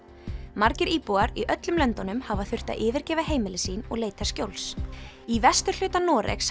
margir íbúar í öllum löndunum hafa þurft að yfirgefa heimili sín og leita skjóls í vesturhluta Noregs